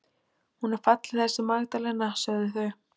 Hún er falleg þessi Magdalena, sögðu þau.